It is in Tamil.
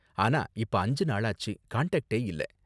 ஆனா இப்ப அஞ்சு நாளாச்சு, காண்டாக்ட்டே இல்ல.